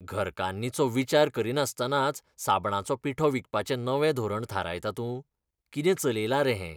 घरकान्नींचो विचार करिनासतनाच साबणाचो पिठो विकपाचें नवें धोरण थारायता तूं? कितें चलयलां रे हें?